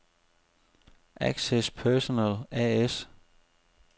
Access Personel A/S